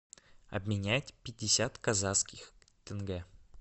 обменять пятьдесят казахских тенге